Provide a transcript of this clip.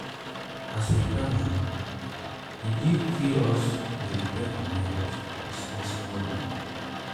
as we plan moni e give free us to dey depend on neighbors for small small loan.